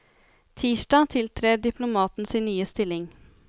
Tirsdag tiltrer diplomaten sin nye stilling.